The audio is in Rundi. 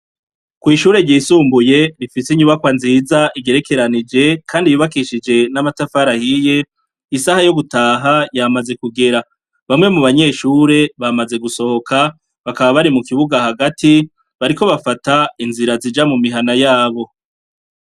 Kwishure ryisumbuye rifise inyubakwa nziza igerekeranije kandi yubakishije n'amatafari ahiye isaha yo gutaha yamaze kugera. Bamwe mubanyeshure bamaze gusohoka bakaba bari mukibuga hagati bariko bafata inzira zija mumihana yabo.